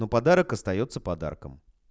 но подарок остаётся подарком